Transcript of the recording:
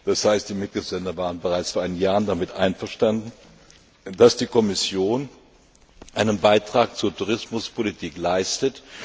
Das heißt, die Mitgliedstaaten waren bereits vor einigen Jahren damit einverstanden, dass die Kommission einen Beitrag zur Tourismuspolitik leistet.